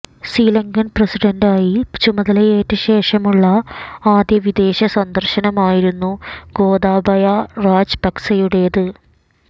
ശ്രീലങ്കൻ പ്രസിഡന്റായി ചുമതലയേറ്റ ശേഷമുള്ള ആദ്യ വിദേശ സന്ദർശനമായിരുന്നു ഗോതബായ രാജപക്സെയുടേത്